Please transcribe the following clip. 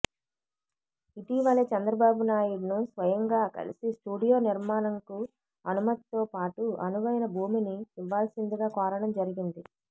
ఇటీవలే చంద్రబాబు నాయుడును స్వయంగా కలిసి స్టూడియో నిర్మాణంకు అనుమతితో పాటు అనువైన భూమిని ఇవ్వాల్సిందిగా కోరడం జరిగింది